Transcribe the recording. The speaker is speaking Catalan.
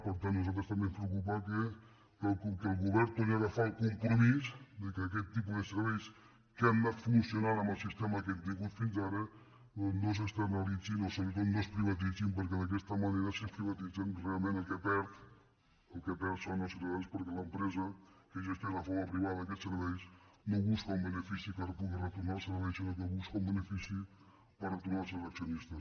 per tant a nos·altres també ens preocupa que el govern torni a aga·far el compromís que aquest tipus de serveis que han anat funcionant amb el sistema que hem tingut fins ara no s’externalitzin o sobretot no es privatitzin perquè d’aquesta manera si es privatitzen realment qui hi perd són els ciutadans perquè l’empresa que gestiona de forma privada aquests serveis no busca un benefici que pugui retornar al servei sinó que busca un benefi·ci per retornar als seus accionistes